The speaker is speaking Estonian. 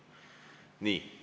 Nii.